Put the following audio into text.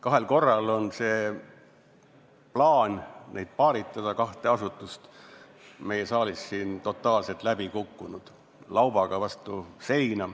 Kahel korral on see plaan neid paaritada, kahte asutust, meie saalis siin totaalselt läbi kukkunud, laubaga vastu seina.